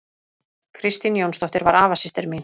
Kristín Jónsdóttir var afasystir mín.